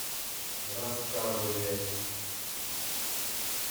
рассказове